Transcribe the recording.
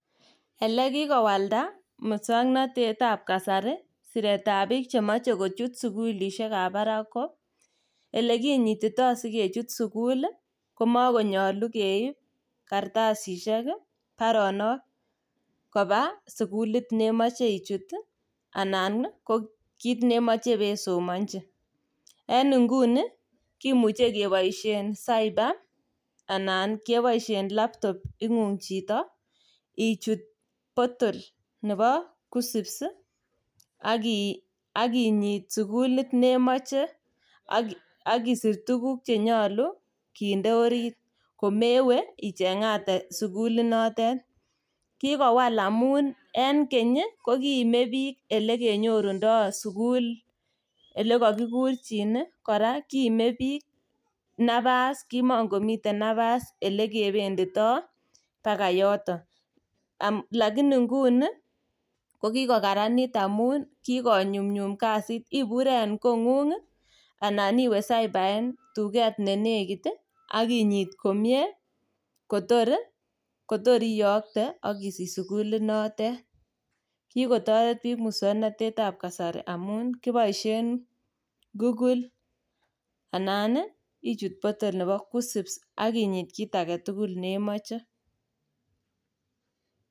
Elekikowalda muswoknotetab kasari siretab biik chemoche kochut sukulisiekab barak ko elekinyitito sikechut sukul ii komekonyolu keib karastasisiek ii baronok koba sukulit nemoche ichut ii anan ko kit nemoche ibesomonji. En nguni kimuche keboisien cyber anan keboisien laptop ing'ung' chito ichut portal nebo KUCCPS ak inyit sukulit nemoche ak isir tuguk chenyolu kinde orit komewe icheng'ate sukulitnotet. Kikowal amun en keny ii kokiime biik elekenyorundo sukul ilekokikurchin ii kora kiime napas kimokomiten napas ilekependito baka yoton. um Lakini nguni kokikokaranit amun kikonyumnyum kasit, ibure en kong'ung ii anan iwe cyber en tuket nenekit ak inyit komie kotor ii iyokte ak isisch sukulinotet. Kikotoret biik muswoknotetab kasari amun kiboisien kukul anan ichut portal nebo KUCCPS ak inyit kit agetukul nemoche.